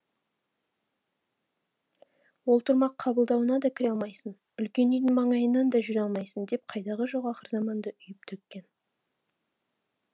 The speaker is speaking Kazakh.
ол тұрмақ қабылдуына да кіре алмайсың үлкен үйдің маңайынан да жүре алмайсың деп қайдағы жоқ ақыр заманды үйіп төккен